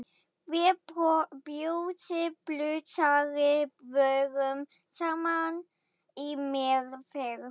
Við Bjössi blúsari vorum saman í meðferð.